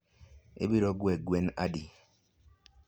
ibiro gwe gwen adi?